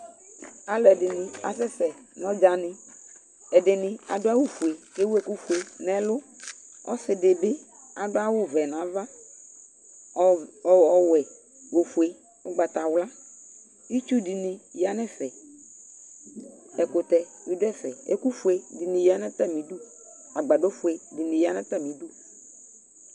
Alʋɛdɩnɩ asɛsɛ nʋ ɔdzanɩ Ɛdɩnɩ adʋ awʋfue kʋ ewu ɛkʋfue nʋ ɛlʋ Ɔsɩ dɩ bɩ adʋ awʋvɛ nʋ ava, ɔv ɔwɛ nʋ ofue, ʋgbatawla Itsu dɩnɩ ya nʋ ɛfɛ Ɛkʋtɛ bɩ dʋ ɛfɛ, ɛkʋfue dɩnɩ ya nʋ atamɩdu Agbadɔfue dɩnɩ ya nʋ atamɩdu